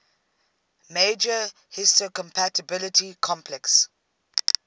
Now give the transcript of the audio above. major histocompatibility complex